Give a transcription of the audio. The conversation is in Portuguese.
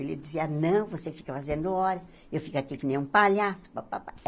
Ele dizia, não, você fica fazendo hora, eu fico aqui que nem um palhaço. Pá pá pá